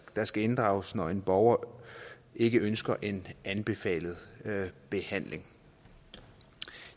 der skal inddrages når en borger ikke ønsker en anbefalet behandling